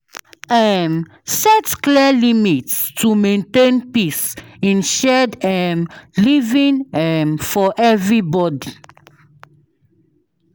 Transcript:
um Set clear limits to maintain peace in shared um living um for everybody.